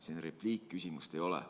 See on repliik, küsimust ei ole.